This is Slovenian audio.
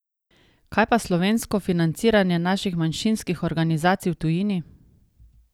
Kaj pa slovensko financiranje naših manjšinskih organizacij v tujini?